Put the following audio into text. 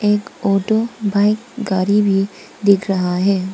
एक auto bike गाड़ी भी दिख रहा है।